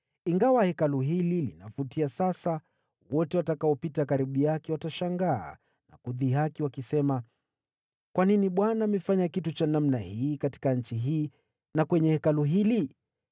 Ingawa hekalu hili linavutia sasa, wote watakaolipita watashangaa na kudhihaki wakisema, ‘Kwa nini Bwana amefanya kitu kama hiki katika nchi hii na kwa Hekalu hili?’